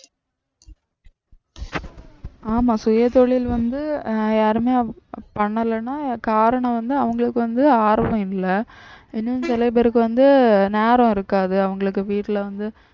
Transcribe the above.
ஆமா சுயதொழில் வந்து அஹ் யாருமே பண்ணலைன்னா காரணம் வந்து அவங்களுக்கு வந்து ஆர்வம் இல்லை இன்னும் சில பேருக்கு வந்து நேரம் இருக்காது அவங்களுக்கு வீட்டுல வந்து